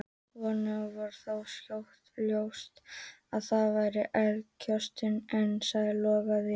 Honum varð þó skjótt ljóst að það var eldiviðarkösturinn einn sem logaði.